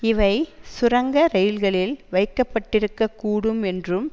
இவை சுரங்க ரயில்களில் வைக்கப்பட்டிருக்க கூடும் என்றும்